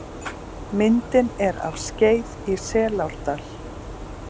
Myndin er af Skeið í Selárdal.